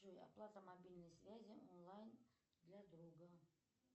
джой оплата мобильной связи онлайн для друга